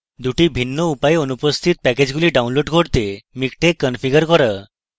দুটি ভিন্ন উপায়ে অনুপস্থিত প্যাকেজগুলি download করার জন্য miktex configure করা